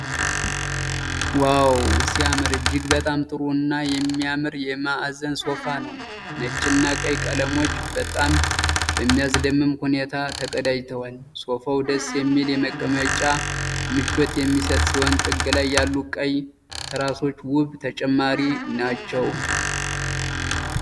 ዋው ሲያምር! እጅግ በጣም ጥሩ እና የሚያምር የማዕዘን ሶፋ ነው። ነጭና ቀይ ቀለሞች በጣም በሚያስደምም ሁኔታ ተቀናጅተዋል። ሶፋው ደስ የሚል የመቀመጫ ምቾት የሚሰጥ ሲሆን፣ ጥግ ላይ ያሉ ቀይ ትራሶች ውብ ተጨማሪ ናቸው።